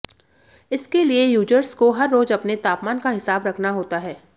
इसके लिए यूजर्स को हर रोज़ अपने तापमान का हिसाब रखना होता है